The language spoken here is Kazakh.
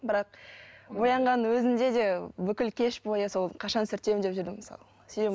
бірақ боянған өзінде де бүкіл кеш бойы сол қашан сүртем деп жүрдім мысалы себебі